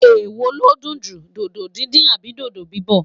ewọ lọdun jù, dodo dindin Abi dodo bibọ?